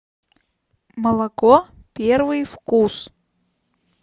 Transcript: молоко первый вкус